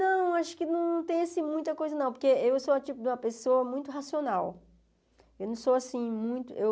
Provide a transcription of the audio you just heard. Não, acho que não tem muita coisa não, porque eu sou um tipo de uma pessoa muito racional. Eu não sou assim muito eu